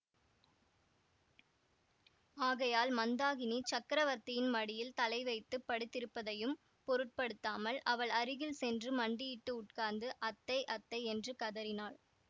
ஆகையால் மந்தாகினி சக்கரவர்த்தியின் மடியில் தலை வைத்து படுத்திருப்பதையும் பொருட்படுத்தாமல் அவள் அருகில் சென்று மண்டியிட்டு உட்கார்ந்து அத்தை அத்தை என்று கதறினான்